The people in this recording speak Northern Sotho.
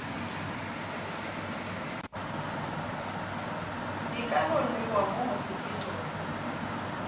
di ka nwewa mo mosepelong